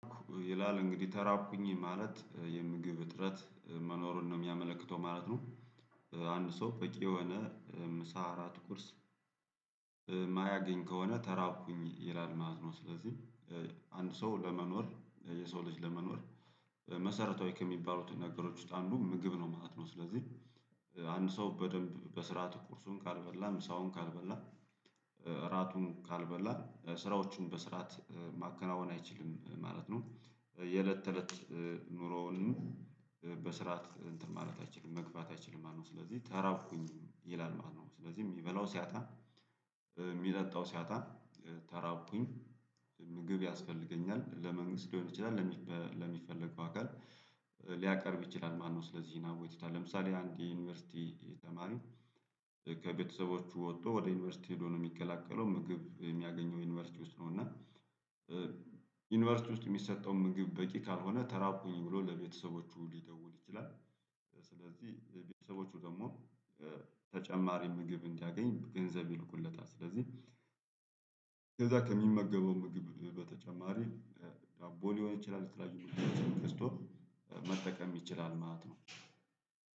ይላል እንግዲህ ተራብኩኝ ማለት የምግብ እጥረት መኖሩን ነው የሚያመለክተው ማለት ነው። አንድ ሰው በቂ የሆነ ምሳ እራት ቁርስ ማያገኝ ከሆነ ተራብኩኝ ይላል ማለትነው። ስለዚህ አንድ ሰው ለመኖር የሰው ልጅ ለመኖር መሰረታዊ ከሚባሉት ነገሮች ውስጥ አንዱ ምግብ ነው ማለት ነው። ስለዚህ አንድ ሰው በደንብ በስርዓት ቁርሱን ካልበላ ምሳውን ካልበላ እራቱን ካልበላ ስራዎቹን በስርዓት ማከናወን አይችልም ማለት ነው። የእለት ተእለት ኑሮውንም በስርዓት እንትን ማለት አይችልም መግፋት አይችልም ማለት ነው። ስለዚህ ተራብኩኝ ይላል ማለት ነው። ስለዚህ የሚበላው ሲያጣ ሚጠጣው ሲያጣ ተራብኩኝ ምግብ ያስፈልገኛል። ለመንግስት ሊሆን ይችላል ለሚፈልገው አካል ሊያቀርብ ይችላል ማነው? ስለዚህ አቤቱታ ለምሳሌ አንድ የዩኒቨርሲቲ ተማሪ ከቤተሰቦቹ ወጥቶ ወደ ዩኒቨርሲቲ ሄዶ ነው የሚቀላቀለው። ምግብ የሚያገኘው ዩኒቨርሲቲ ውስጥ ነው እና ዩኒቨርሲቲ ውስጥ የሚሰጠው ምግብ በቂ ካልሆነ ተራብኩኝ ብሎ ለቤተሰቦቹ ሊደውል ይችላል። ስለዚህ ቤተሰቦቹ ደግሞ ተጨማሪ ምግብ እንዲያገኝ ገንዘብ ይልኩለታል። ስለዚህ ከዛ ከሚመገበው ምግብ በተጨማሪ ዳቦ ሊሆን ይችላል የተለያዩ ምግቦችን ገዝቶ መጠቀም ይችላል ማለት ነው።